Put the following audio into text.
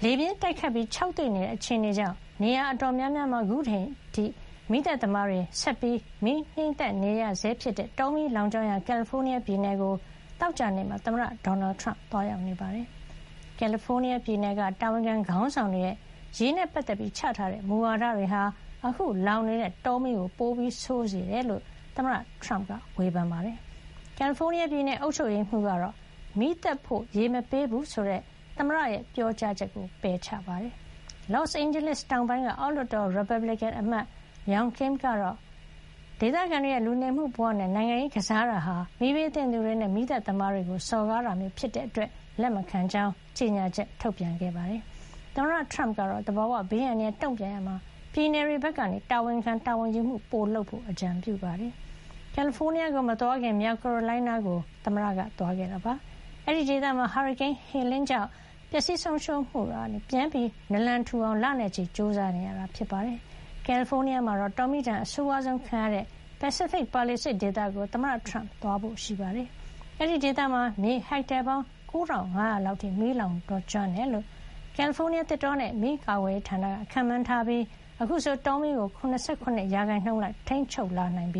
ေပြင်းတိုက်ခတ်ပြီး ခြောက်သွေ့တဲ့ အခြေအနေကြောင့် နေရာ အတော်များများမှာ အခုအချိန်ထိ မီးသတ်သမားတွေ ဆက်လက် ငြှိမ်းသတ်နေရဆဲဖြစ်တဲ့ တောမီးလောင်ကျွမ်းရာ ကယ်လီဖိုးနီးယားပြည်နယ်ကို သောကြာနေ့မှာ သမ္မတဒေါ်နယ်ထရမ့် သွားရောက် နေပါတယ်။ ကယ်လီဖိုးနီးယား ပြည်နယ်က တာဝန်ခံ ခေါင်းဆောင်တွေရဲ့ ရေနဲ့ ပတ်သက်ပြီး ချထားတဲ့ မူဝါဒတွေဟာ အခု လောင်နေတဲ့ တောမီးကို ပိုဆိုးစေတယ်လို့ သမ္မတထရမ့်က ဝေဖန်ပါတယ်။ ကယ်လီဖိုးနီးယားပြည်နယ် အုပ်ချုပ်ရေးမှုးကတော့ မီးသတ်ဖို့ ရေမပေးဘူးဆိုတဲ့ သမ္မတရဲ့ ပြောကြားချက်ကို ပယ်ချပါတယ်။ Los Angeles တောင်ပိုင်း က အောက်လွှတ်တော် ရီပတ်ဘလစ်ကင်အမတ် Young Kim ကတော့ ဒေသခံတွေရဲ့ လူနေမှု ဘဝနဲ့ နိုင်ငံရေးကစားတာဟာ မီးဘေးသင့်သူတွေနဲ့ မီးသတ်သမားတွေကို စော်ကားတာမျိုး ဖြစ်တဲ့အတွက် လက်မခံကြောင်း ကြေညာချက် ထုတ်ပြန်ခဲ့ပါတယ်။ သမ္မတထရမ့်ကတော့ သဘာဝဘေး အန္တရာယ် တုံ့ပြန်ရာမှာ ပြည်နယ်တွေဘက်က တာဝန်ခံတာဝန်ယူမှု ပို လုပ်ကြဖို့ အကြံပြုပါတယ်။ ကယ်လီဖိုးနီးယားကို မသွားခင် မြောက်ကာရိုလိုင်းနားကို သွားရောက်ခဲ့တာပါ။ အဲဒီဒေသမှာ ဟာရီကိန်း Helene ကြောင့် ပျက်စီးဆုံးရှုံးမှုကနေ ပြန်နလံထူအောင် လနဲ့ချီ ကြိုးစားနေရတာ ဖြစ်ပါတယ်။ ကယ်လီဖိုးနီးယားမှာ တောမီးဒဏ် အဆိုးဝါးဆုံးခံရတဲ့ Pacific Palisades ဒေသကို သမ္မတထရမ့် သွားရောက်ဖို့ရှိပါတယ်။ အဲဒီဒေသမှာ မြေဟက်တာ ပေါင်း ၉၅၀၀ လောက် အထိ မီးလောင်ကျွမ်းခဲ့တယ်လို့ ကယ်လီဖိုးနီးယား သစ်တောနဲ့ မီးကာကွယ်ရေးဌာနက ခန့်မှန်းထားပြီး အခုဆို တောမီးကို ၇၇ % လောက် ထိန်းချုပ်လာနိုင်ပြ